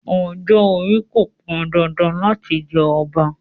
Ọjọ́-orí kò pọn dandan láti jẹ ọba.